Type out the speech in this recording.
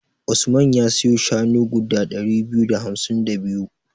Usman ya siyo shanu guda ɗari biyu da hamsin da biyu.